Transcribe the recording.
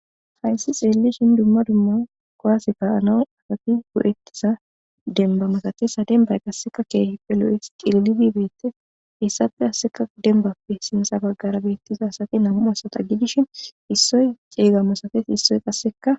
Haysi xelishin dumma dumma kuwase ka'naw eti go'etiza demba malates ha dembay qaseka kehippe lo'es qindime betes heysappe qasika dembappe sinta bagara nam'u asata gidishin issoy chega masates issoy qaseka